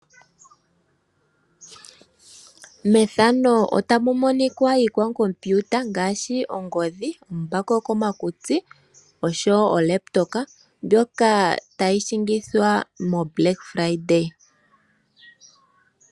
Methano otamu monikwa iikwakompiuta ngaashi ongodhi, uumbako wokomakutsi osho wo olaptopa mbyoka tayi shingithwa moblack friday.